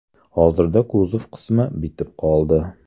Hozirda kuzov qismi bitib qoldi.